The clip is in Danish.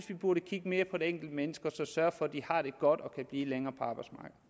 vi burde kigge mere på det enkelte menneske og sørge for at de har det godt og kan blive længere